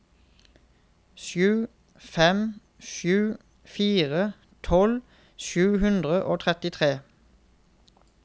sju fem sju fire tolv sju hundre og trettitre